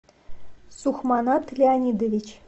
сухманат леонидович